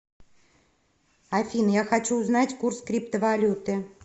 афина я хочу узнать курс криптовалюты